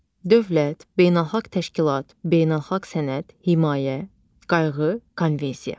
Dövlət, beynəlxalq təşkilat, beynəlxalq sənəd, himayə, qayğı, konvensiya.